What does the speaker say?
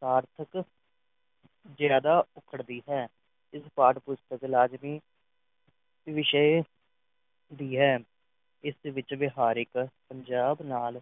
ਸਾਰਥਕ ਜ਼ਿਆਦਾ ਉਖੜਦੀ ਹੈ ਇਸ ਪਾਠ-ਪੁਸਤਕ ਲਾਜ਼ਮੀ ਵਿਸ਼ੇ ਦੀ ਹੈ ਇਸ ਵਿੱਚ ਵਿਹਾਰਿਕ ਪੰਜਾਬ ਨਾਲ